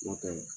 N'o tɛ